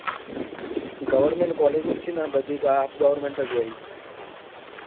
Goverment college જ છે ને બધી half goverment જ હોય